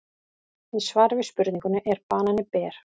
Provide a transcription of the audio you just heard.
Í svari við spurningunni Er banani ber?